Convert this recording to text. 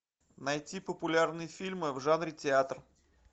найти популярные фильмы в жанре театр